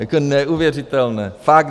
Jako neuvěřitelné.